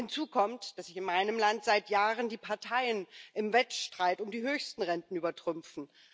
Hinzu kommt, dass sich in meinem Land seit Jahren die Parteien im Wettstreit um die höchsten Renten übertrumpfen.